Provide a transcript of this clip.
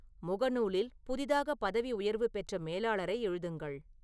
முகநூலில் புதிதாக பதவி உயர்வு பெற்ற மேலாளரை எழுதுங்கள்